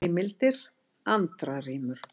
Heimildir: Andra rímur.